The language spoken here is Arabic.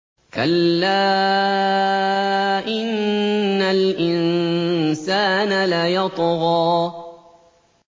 كَلَّا إِنَّ الْإِنسَانَ لَيَطْغَىٰ